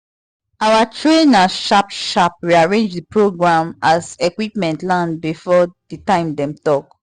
our trainer sharp sharp rearrange the program as equipment land before the time dem talk